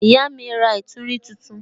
Ìyá mi ra ìtúrin tuntun.